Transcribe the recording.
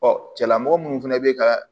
cɛla mɔgɔ minnu fɛnɛ bɛ ka